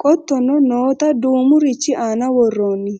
qottono noota duumurichi aana worroonni